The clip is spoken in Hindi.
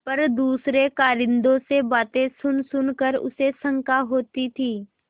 पर दूसरे कारिंदों से बातें सुनसुन कर उसे शंका होती थी